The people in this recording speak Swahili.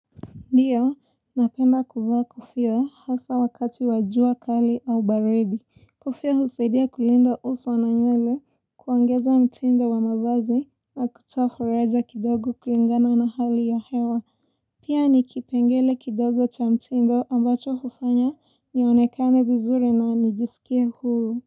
Ndiyo, napenda kuvaaa kofia hasa wakati wa jua kali au baridi. Kufia husaidia kulinda uso na nywele, kuongeza mtindo wa mavazi na kutoa furaja kidogo kulingana na hali ya hewa. Pia ni kipengele kidogo cha mtindo ambacho hufanya nionekane vizuri na nijisikie huru.